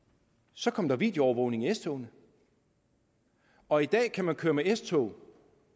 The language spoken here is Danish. så kom der videoovervågning i s togene og i dag kan man køre med s tog